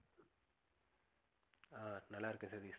ஆஹ் நல்லா இருக்கேன் சதீஷ்